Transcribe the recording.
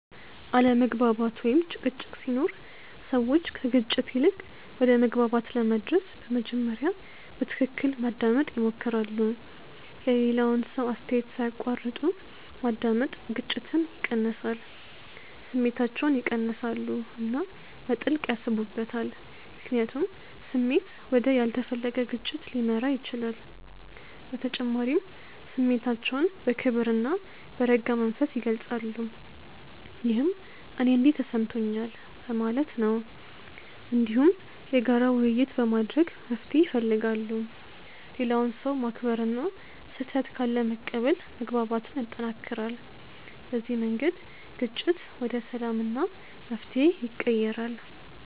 አለመግባባት ወይም ጭቅጭቅ ሲኖር ሰዎች ከግጭት ይልቅ ወደ መግባባት ለመድረስ በመጀመሪያ በትክክል ማዳመጥ ይሞክራሉ። የሌላውን ሰው አስተያየት ሳይቋረጥ ማዳመጥ ግጭትን ይቀንሳል። ስሜታቸውን ይቀንሳሉ እና በጥልቅ ያስቡበታል፣ ምክንያቱም ስሜት ወደ ያልተፈለገ ግጭት ሊመራ ይችላል። በተጨማሪም ስሜታቸውን በክብር እና በረጋ መንፈስ ይገልጻሉ፣ ይህም “እኔ እንዲህ ተሰምቶኛል” በማለት ነው። እንዲሁም የጋራ ውይይት በማድረግ መፍትሄ ይፈልጋሉ። ሌላውን ሰው ማክበር እና ስህተት ካለ መቀበል መግባባትን ያጠናክራል። በዚህ መንገድ ግጭት ወደ ሰላም እና መፍትሄ ይቀየራል።